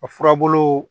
A furabulu